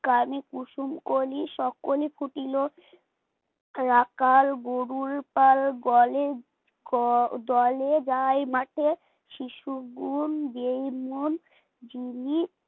কানে কুসুম কলি সকলেই ফুটিল রাখাল গরুর পাল গোয়ালে দলে দলে যায় মাঠে শিশু গুন গেয়ে মন যিনি